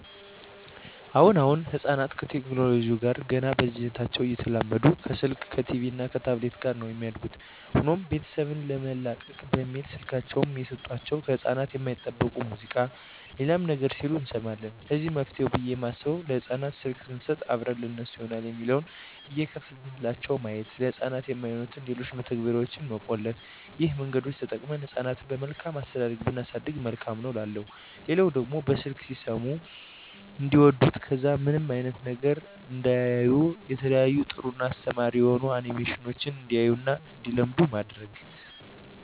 አሁን አሁን ህጻናት ከቴክኖለጂው ጋር ገና በልጂነታቸው እየተላመዱ ከስልክ ከቲቪ እና ከታብሌት ጋር ነው የሚያድጉት። ሆኖም ቤተሰብ ለመላቀቅ በሚል ስልካቸውን እየሰጦቸው ከህጻናት የማይጠበቅ ሙዚቃ ሌላም ነገር ሲሉ እንሰማለን ለዚህ መፍትሄ ብየ የማስበው ለህጻናት ስልክ ሰንሰጥ አብረን ለነሱ ይሆናል የሚለውን እየከፈትንላቸው ማየት፤ ለህጻናት የማይሆኑትን ሌሎችን መተግበርያዋች መቆለፍ ይህን መንገዶች ተጠቅመን ህጻናትን በመልካም አስተዳደግ ብናሳድግ መልካም ነው እላለሁ። ሌላው ደግሞ በስልክ ሲሰሙት እንዲዋዱት ከዛ ውጭ ምንም አይነት ነገር እንዳያዩ የተለያዩ ጥሩ እና አስተማሪ የሆኑ አኒሜሽኖችን እንዲያዩ እና እንዲለምዱ ማድረግ።